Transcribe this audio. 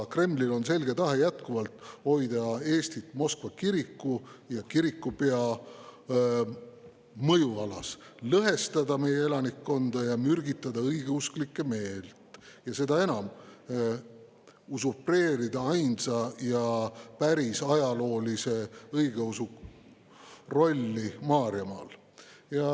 Kremlil on selge tahe jätkuvalt hoida Eestit Moskva kiriku ja kirikupea mõjualas, lõhestada meie elanikkonda ja mürgitada õigeusklike meelt, ning seda enam usurpeerida ainsa ja päris ajaloolise õigeusu rolli Maarjamaal.